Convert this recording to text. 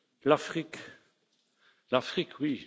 fait. L'Afrique,